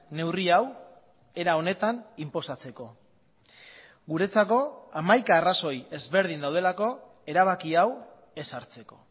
neurri hau era honetan inposatzeko guretzako hamaika arrazoi ezberdin daudelako erabaki hau ez hartzeko